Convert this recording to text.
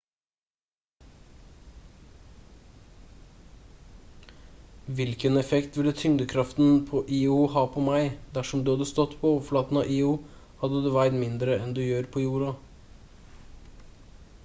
hvilken effekt ville tyngdekraften på io ha på meg dersom du hadde stått på overflaten av io hadde du veid mindre enn du gjør på jorda